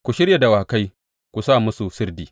Ku shirya dawakai, ku sa musu sirdi!